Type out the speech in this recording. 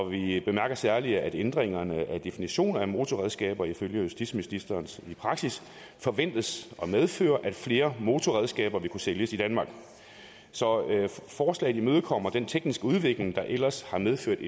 vi bemærker særligt at ændringen af definitionen af motorredskaber ifølge justitsministeren forventes at medføre at flere motorredskaber vil kunne sælges i danmark så forslaget imødekommer den tekniske udvikling der ellers har medført